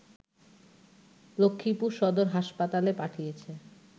লক্ষ্মীপুর সদর হাসপাতালে পাঠিয়েছে